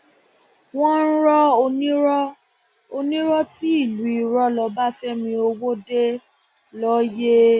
wọn rọ onírọ onírọ ti ìlú irọ lọbáfẹmi ọwọde lóye